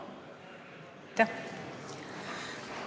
Aitäh!